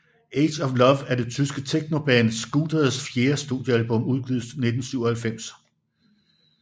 Age of Love er det tyske technoband Scooters fjerde studiealbum udgivet i 1997